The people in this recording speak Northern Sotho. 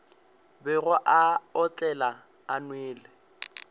bego a otlela a nwele